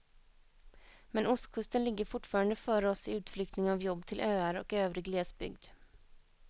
Men ostkusten ligger fortfarande före oss i utflyttning av jobb till öar och övrig glesbygd.